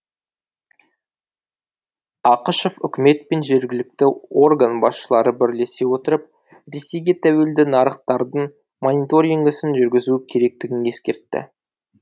ақышев үкімет пен жергілкті орган басшылары бірлесе отырып ресейге тәуелді нарықтардың мониторингісін жүргізу керектігін ескертті